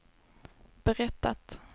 berättat